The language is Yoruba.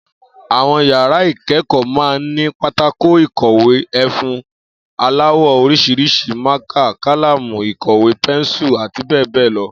Àwo̩n yàrá ìké̩kò̩ó̩ máa ń ní pátákó ìkò̩wé, e̩fun aláwò̩ orís̩irís̩i, mákà, kálámù ìkò̩wé, pensu àti bé̩è̩ bé̩è̩ lo̩